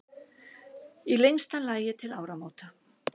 Í lengsta lagi til áramóta.